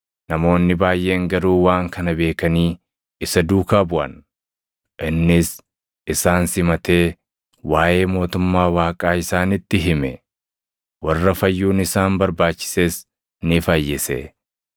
namoonni baayʼeen garuu waan kana beekanii isa duukaa buʼan. Innis isaan simatee waaʼee mootummaa Waaqaa isaanitti hime; warra fayyuun isaan barbaachises ni fayyise.